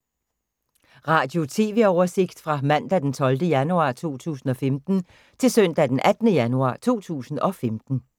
Radio/TV oversigt fra mandag d. 12. januar 2015 til søndag d. 18. januar 2015